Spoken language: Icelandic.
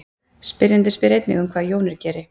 spyrjandinn spyr einnig um hvað jónir geri